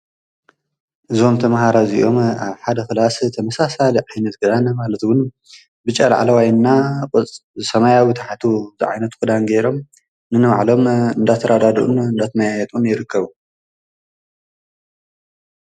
ዝምተ መሃራ እዚኦም ኣብ ሓደ ኽላስ ተምሳሳ ዓይነትገራነ ማለትዉን ብጨልዓለዋይና ሰማይዊ ታሓቱ ዘዓይነት ኲዳን ገይሮም ንንዕሎም እንዳተራዳድኡን ናትማይየጡን ይርክቡ::